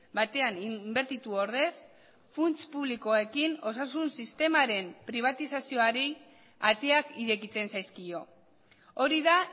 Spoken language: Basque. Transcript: batean inbertitu ordez funts publikoekin osasun sistemaren pribatizazioari ateak irekitzen zaizkio hori da